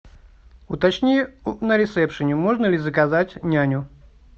уточни на ресепшене можно ли заказать няню